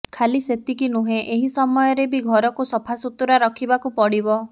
ଖାଲି ସେତିକି ନୁହେଁ ଏହି ସମୟରେ ବି ଘରକୁ ସଫାସୁତୁରା ରଖିବାକୁ ପଡିବ